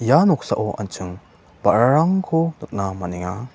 ia noksao an·ching ba·rarangko nikna man·enga.